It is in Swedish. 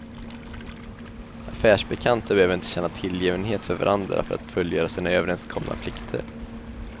Affärsbekanta behöver inte känna tillgivenhet för varandra för att fullgöra sina överrenskomna plikter.